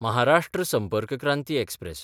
Maharashtra Sampark Kranti express